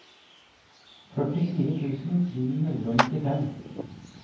førtifire tusen ni hundre og nittifem